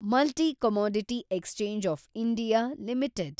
multi commodity exchange of India limited